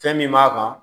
Fɛn min b'a kan